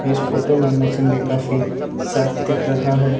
इस फोटो में मौसम भी काफी साफ दिख रहा है।